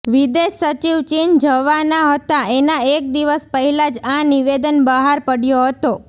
વિદેશ સચિવ ચીન જવાના હતા એના એક દિવસ પહેલાં જ આ નિવેદન બહાર પાડ્યો હતો